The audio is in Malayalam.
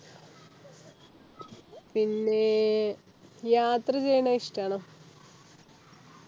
പിന്നെ യാത്ര ചെയ്യണെ ഇഷ്ടണോ